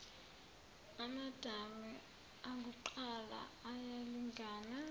amadami akuqala ayalingana